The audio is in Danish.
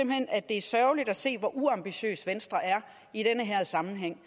at det er sørgeligt at se hvor uambitiøs venstre er i den her sammenhæng